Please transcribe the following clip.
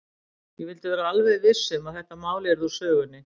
Ég vildi vera alveg viss um að þetta mál yrði úr sögunni.